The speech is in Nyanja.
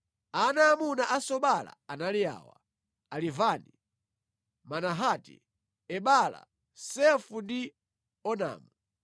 Ana aamuna a Sobala anali awa: Alivani, Manahati, Ebala, Sefo ndi Onamu.